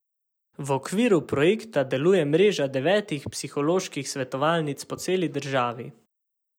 V okviru projekta deluje mreža devetih psiholoških svetovalnic po celi državi.